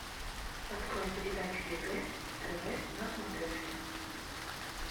открой передачу егэ тв на смотрешке